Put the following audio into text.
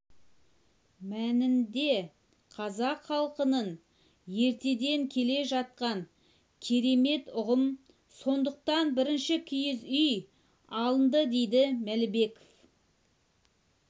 мәнінде қазақ халқының ертеден келе жатқан керемет ұғым сондықтан бірінші киіз үй алынды дейді мәлібеков